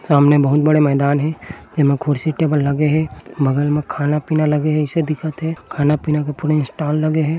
सामने बहुत बड़े मैदान हे एमा खुर्सी टेबल लगे हे बगल मा खाना पीना लगे हे ऐसे दिखत हे खाना पीना का पुरे स्टॉल लगे हे।